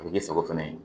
A bɛ k'i sago fana ye